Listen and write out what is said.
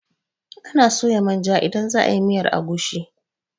Anaa soya manja idan za a yi miyar agushi.